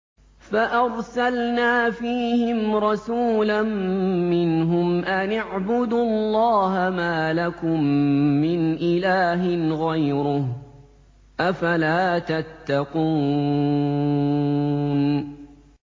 فَأَرْسَلْنَا فِيهِمْ رَسُولًا مِّنْهُمْ أَنِ اعْبُدُوا اللَّهَ مَا لَكُم مِّنْ إِلَٰهٍ غَيْرُهُ ۖ أَفَلَا تَتَّقُونَ